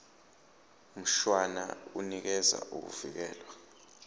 mshwana unikeza ukuvikelwa